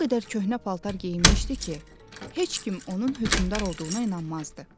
O qədər köhnə paltar geyinmişdi ki, heç kim onun hökmdar olduğuna inanmazdı.